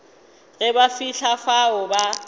ge ba fihla fao ba